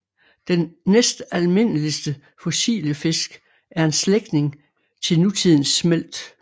Den næstalmindeligste fossile fisk er en slægtning til nutidens smelt